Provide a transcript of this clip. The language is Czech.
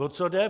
O co jde?